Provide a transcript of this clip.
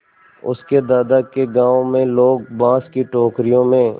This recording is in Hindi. उसके दादा के गाँव में लोग बाँस की टोकरियों में